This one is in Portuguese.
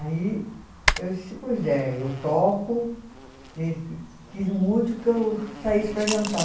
Aí eu disse, pois é, eu toco e quis muito que eu saísse para jantar.